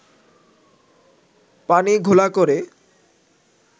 “ পানি ঘোলা করে